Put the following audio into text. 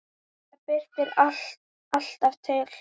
Það birtir alltaf til.